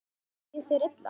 Líður þér illa?